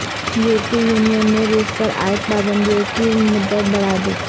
یورپی یونین نے روس پر عائد پابندیوں کی مدت بڑھا دی